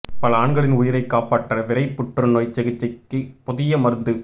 பல ஆண்களின் உயிரைக் காப்பாற்ற விரைப் புற்றுநோய் சிகிச்சைக்கு புதிய மருந்து